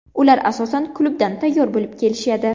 Ular asosan klubdan tayyor bo‘lib kelishadi.